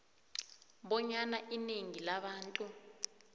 bonyana inengi labantu